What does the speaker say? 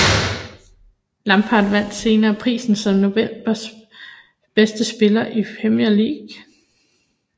Lampard vandt senere prisen som novembers bedste spiller i Premier League